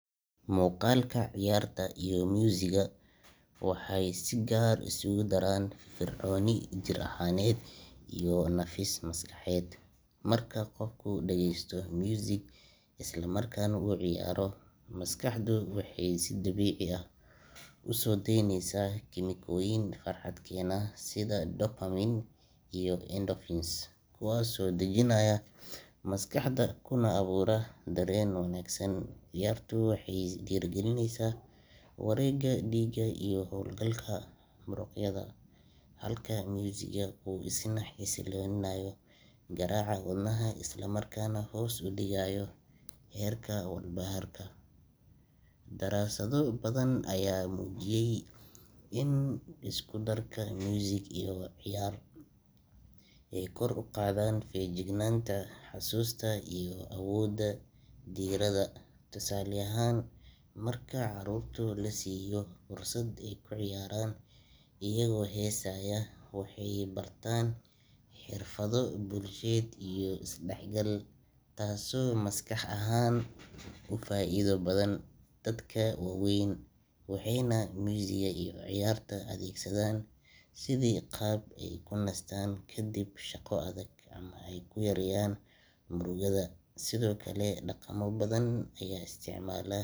Muuqaalka ciyaarta iyo muusiggu waxay si gaar ah isugu daraan firfircooni jir ahaaneed iyo nafis maskaxeed. Marka qofku dhagaysto muusig isla markaana uu ciyaaro, maskaxdu waxay si dabiici ah u soo deyneysaa kiimikooyin farxad keena sida dopamine iyo endorphins, kuwaasoo dejinaya maskaxda kuna abuura dareen wanaagsan. Ciyaartu waxay dhiirrigelisaa wareegga dhiigga iyo hawlgalka muruqyada, halka muusiggu uu isna xasilinayo garaaca wadnaha isla markaana hoos u dhigayo heerka walbahaarka. Daraasado badan ayaa muujiyey in isku darka muusig iyo ciyaar ay kor u qaadaan feejignaanta, xusuusta iyo awoodda diiradda. Tusaale ahaan, marka caruurta la siiyo fursad ay ku ciyaaraan iyagoo heesaya, waxay bartaan xirfado bulsheed iyo isdhexgal, taasoo maskax ahaan u faa’iido badan. Dadka waaweynna waxay muusigga iyo ciyaarta u adeegsadaan sidii qaab ay ku nastaan kadib shaqo adag ama ay ku yareeyaan murugada. Sidoo kale, dhaqamo badan ayaa isticmaala.